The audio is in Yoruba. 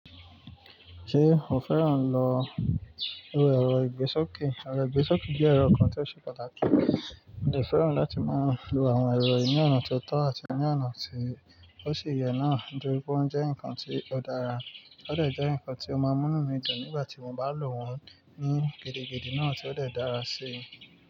Ṣé o fẹ́ràn lọ wo ẹ̀rọ ìgbésókè? Ẹ̀rọ ìgbésókè jẹ́ ẹ̀rọ kan tí ó ṣe pàtàkì, mo dẹ fẹ́ràn láti máa lo àwọn ẹ̀rọ yìí ní ọ̀nà tó tọ́ àti ní ọ̀nà tí ó sì yẹ náà, nítorí pé ó ń jẹ́ ǹkan tí ó dára, ó dé jẹ́ ǹkan tí ó máa múnú mí dùn nígbà tí mo bá lò wọ́n ní gidigidi náà tí ó dè dàra sí i.